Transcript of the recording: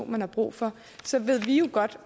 man har brug for så ved vi jo godt